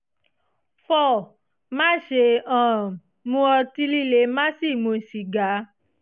four má ṣe um mu ọtí líle má sì mu sìgá